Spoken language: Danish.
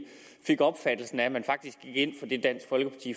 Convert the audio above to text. fik opfattelsen af at man faktisk gik ind